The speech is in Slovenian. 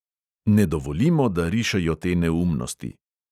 Ne dovolimo, da rišejo te neumnosti.